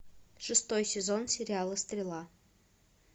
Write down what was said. шестой сезон сериала стрела